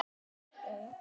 Finnur friðinn þar.